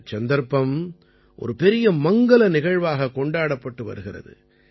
இந்தச் சந்தர்ப்பம் ஒரு பெரிய மங்கல நிகழ்வாகக் கொண்டாடப்பட்டு வருகிறது